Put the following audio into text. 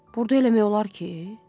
Burda eləmək olar ki?